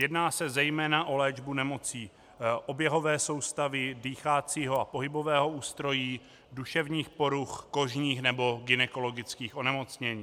Jedná se zejména o léčbu nemocí oběhové soustavy, dýchacího a pohybového ústrojí, duševních poruch, kožních nebo gynekologických onemocnění.